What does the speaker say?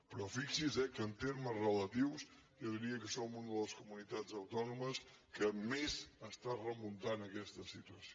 però fixi’s eh que en termes relatius jo diria que som una de les comunitats autònomes que més està remun·tant aquesta situació